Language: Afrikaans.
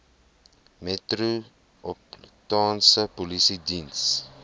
metropolitaanse polisie diens